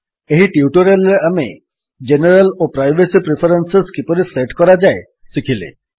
ଏହି ଟ୍ୟୁଟୋରିଆଲ୍ ରେ ଆମେ ଜେନେରାଲ୍ ଓ ପ୍ରାଇଭେସୀ ପ୍ରିଫରେନ୍ସେସ୍ କିପରି ସେଟ୍ କରାଯାଏ ଶିଖିଲେ